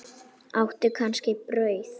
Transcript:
Áttu kannski brauð?